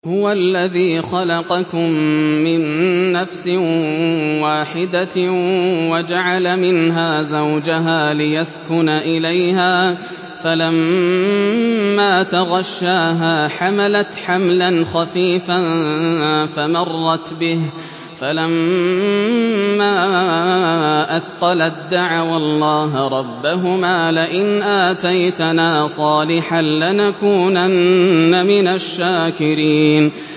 ۞ هُوَ الَّذِي خَلَقَكُم مِّن نَّفْسٍ وَاحِدَةٍ وَجَعَلَ مِنْهَا زَوْجَهَا لِيَسْكُنَ إِلَيْهَا ۖ فَلَمَّا تَغَشَّاهَا حَمَلَتْ حَمْلًا خَفِيفًا فَمَرَّتْ بِهِ ۖ فَلَمَّا أَثْقَلَت دَّعَوَا اللَّهَ رَبَّهُمَا لَئِنْ آتَيْتَنَا صَالِحًا لَّنَكُونَنَّ مِنَ الشَّاكِرِينَ